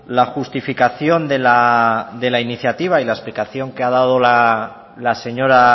la justificación de la iniciativa y la explicación que ha dado la señora